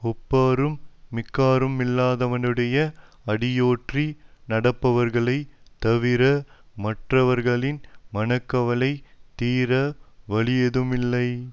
ஒப்பாரும் மிக்காருமில்லாதவனுடைய அடியொற்றி நடப்பவர்களைத் தவிர மற்றவர்களின் மனக்கவலை தீர வழியேதுமில்லை